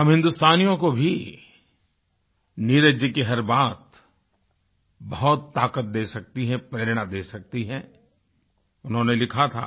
हम हिन्दुस्तानियों को भी नीरज जी की हर बात बहुत ताक़त दे सकती है प्रेरणा दे सकती है उन्होंने लिखा था